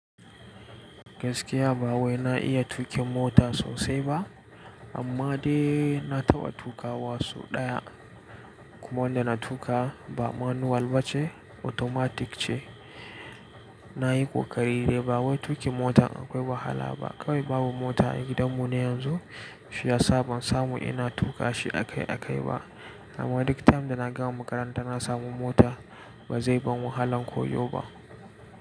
Gaskiya ba wai na iya tuƙin mota sosai ba amma dai na taɓa tuƙa wa soɗaya kuma wanda na tuƙa ba manual ba ce automatic ce. Na yi ƙoƙari dai ba wai tuƙin mota akwai wahala ba kawai babu mota a gidanmu ne yanzu shiyasa ban samu ina tuƙa shi a kai a kai ba amma duk time da na gama makaranta na samu mota ba zai ban wahalan koyo ba.